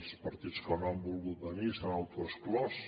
els partits que no han volgut venir s’han autoexclòs